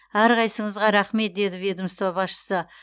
әрқайсыңызға рақмет деді ведомство басшысы